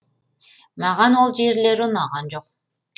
маған ол жерлері ұнаған жоқ